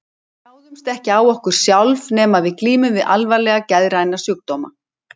Við ráðumst ekki á okkur sjálf, nema ef við glímum við alvarlega geðræna sjúkdóma.